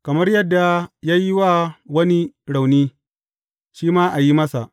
Kamar yadda ya yi wa wani rauni, shi ma a yi masa.